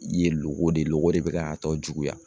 I ye loko de loko de bɛ k'a tɔ juguya